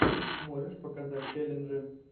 можешь показать челленджи